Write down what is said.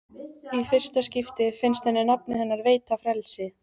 Í fyrsta skipti finnst henni nafnið hennar veita frelsi.